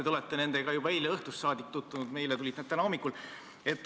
Teie olete nendega juba eile õhtust saadik saanud tutvuda, meile tulid need täna hommikul.